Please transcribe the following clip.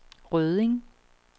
Rødding